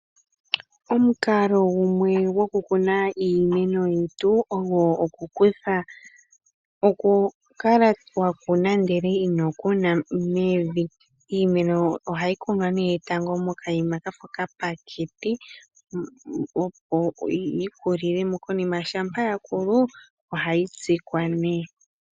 Omukalo gumwe gokukuna iimeno yetu ogo okukutha , okukala wakuna ndele ino kuna mevi. iimeno ohayi kunwa nee tango moka yima kafa oka pateke opo yikulilemo konima shampa yakulu ohayi tsikwa nee.